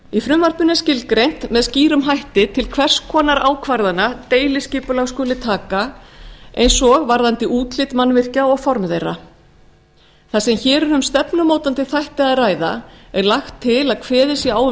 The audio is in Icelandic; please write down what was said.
frumvarpinu er skilgreint með skýrum hætti til hvers konar ákvarðana deiliskipulag skuli taka eins og varðandi útlit mannvirkja og formaður þeirra þar sem hér er um stefnumótandi þætti að ræða er lagt til að kveðið sé á um